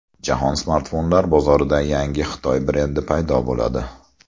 Jahon smartfonlar bozorida yangi Xitoy brendi paydo bo‘ladi.